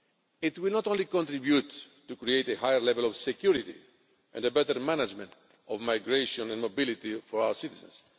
It will not only contribute to create a higher level of security and a better management of migration and mobility for our citizens